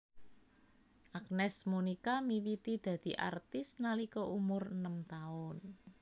Agnes Monica miwiti dadi artis nalika umur enem taun